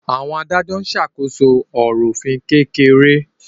Àwọn adájọ́ ń ṣàkóso ọ̀rọ̀ òfin kékeré